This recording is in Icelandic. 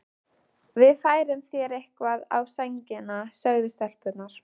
Við færum þér eitthvað á sængina, sögðu stelpurnar.